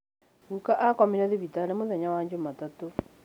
Gũka arakomire thibitari mũthenya wa Jumatatũ